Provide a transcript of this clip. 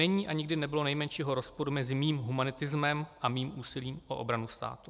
Není a nikdy nebylo nejmenšího rozporu mezi mým humanitismem a mým úsilím o obranu státu."